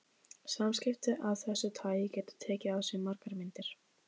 Samskipti af þessu tagi geta tekið á sig margar myndir.